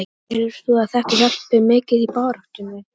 Telur þú að þetta hjálpi mikið í baráttunni?